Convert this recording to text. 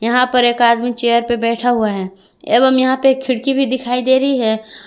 यहां पर एक आदमी चेयर पे बैठा हुआ है एवं यहां पे एक खिड़की भी दिखाई दे रही है।